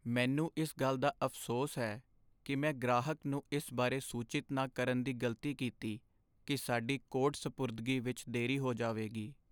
ਮੈਨੂੰ ਇਸ ਗੱਲ ਦਾ ਅਫ਼ਸੋਸ ਹੈ ਕਿ ਮੈਂ ਗ੍ਰਾਹਕ ਨੂੰ ਇਸ ਬਾਰੇ ਸੂਚਿਤ ਨਾ ਕਰਨ ਦੀ ਗ਼ਲਤੀ ਕੀਤੀ ਕਿ ਸਾਡੀ ਕੋਡ ਸਪੁਰਦਗੀ ਵਿੱਚ ਦੇਰੀ ਹੋ ਜਾਵੇਗੀ।